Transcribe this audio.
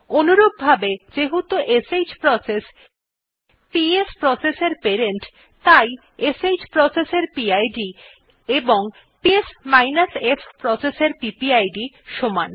অনুরূপভাবে যেহেতু শ্ প্রসেস পিএস প্রসেস এর প্যারেন্ট তাই শ্ প্রসেস এর পিড ও পিএস f প্রসেস এর পিপিআইডি সমান